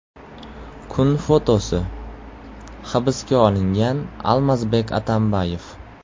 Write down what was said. Kun fotosi: Hibsga olingan Almazbek Atambayev.